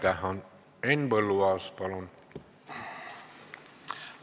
Henn Põlluaas, palun!